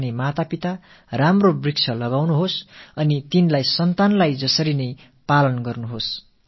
ஆகையால் தங்கள் நலனைப் பேண நினைக்கும் தாய் தந்தையர் நல்ல மரங்களை நட்டு அவற்றை தங்கள் மக்கட்செல்வங்களுக்கு இணையாக பராமரிக்க வேண்டும்